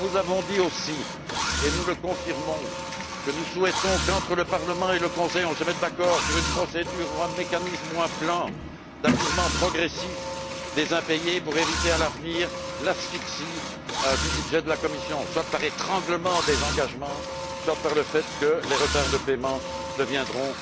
Nous vous avons dit aussi, et nous le confirmons, que nous souhaitons qu'entre le Parlement et le Conseil, on se mette d'accord sur une procédure, un mécanisme ou un plan d'apurement progressif des impayés pour éviter à l'avenir l'asphyxie du budget de la Commission, soit par l'étranglement des engagements, soit par le fait que les retards de paiements deviendront